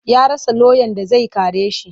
Ya rasa lauyan da zai kare shi.